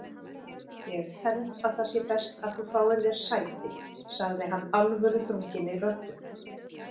Ég held að það sé best að þú fáir þér sæti sagði hann alvöruþrunginni röddu.